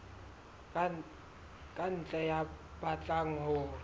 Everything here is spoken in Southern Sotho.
ka ntle ya batlang ho